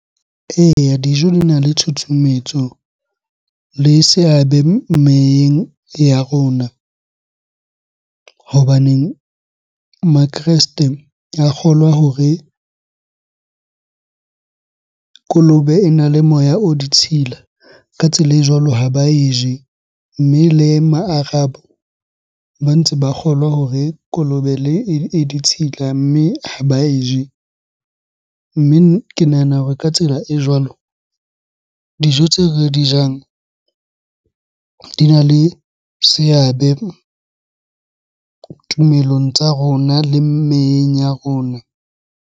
Eya, dijo di na le tshutshumetso le seabe meyeng ya rona. Hobaneng makreste a kgolwa hore kolobe ena le moya o ditshila, ka tsela e jwalo ha ba e je. Mme le ma Arab ba ntse ba kgolwa hore kolobe e ditshila mme ha ba e je. Mme ke nahana hore ka tsela e jwalo dijo tseo re di jang di na le seabe tumelong tsa rona le meyeng ya rona.